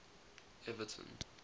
evaton